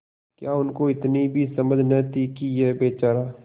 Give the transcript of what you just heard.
क्या उनको इतनी भी समझ न थी कि यह बेचारा